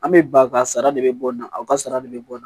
An bɛ ba ka sara de bɛ bɔ nin na aw ka sara de bɛ bɔ nin na